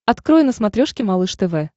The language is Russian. открой на смотрешке малыш тв